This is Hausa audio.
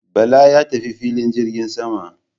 Bala ya tafi filin jirgin sama